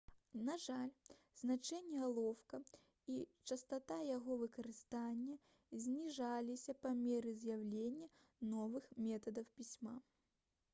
на жаль значэнне алоўка і частата яго выкарыстання зніжаліся па меры з'яўлення новых метадаў пісьма